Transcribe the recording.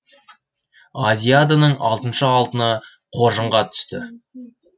азиаданың алтыншы алтыны қоржынға түсті